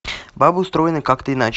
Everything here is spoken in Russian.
бабы устроены как то иначе